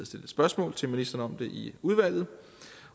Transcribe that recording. stillet spørgsmål til ministeren om det i udvalget